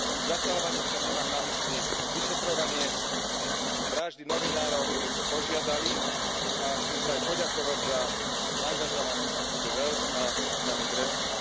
Zasahovaním však nemám na mysli vyšetrovanie vraždy novinárov, o ktoré sme požiadali, a chcem sa aj poďakovať za angažovanosť Sophie in 't VELD a pani Grässle.